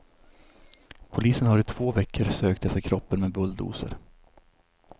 Polisen har i två veckor sökt efter kroppen med bulldozer.